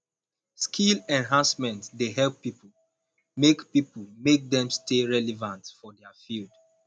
skill enhancement dey help pipo make pipo make dem stay relevant for their field